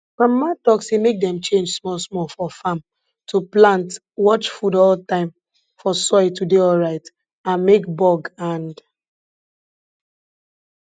grandmama talk say make dem change small small for farm to plant watch food all time for soil to dey alright and make bug and